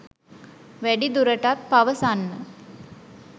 වැඩිදුරටත් පවසන්න